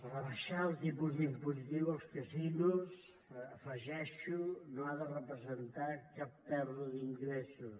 rebaixar el tipus impositiu als casinos hi afegeixo no ha de representar cap pèrdua d’ingressos